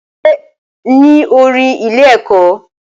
Ṣe ní orin ilé ẹ̀kọ́?